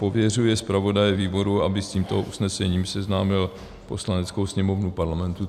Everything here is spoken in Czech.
pověřuje zpravodaje výboru, aby s tímto usnesením seznámil Poslaneckou sněmovnu Parlamentu.